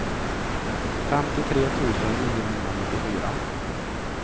femtiotre tusen niohundranittiofyra